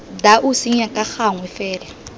dau senya ka gangwe fela